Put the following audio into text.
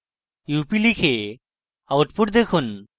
up লিখে output দেখুন